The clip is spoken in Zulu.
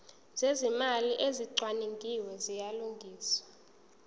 zezimali ezicwaningiwe ziyalungiswa